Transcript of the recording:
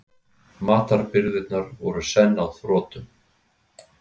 Matarbirgðirnar voru senn á þrotum.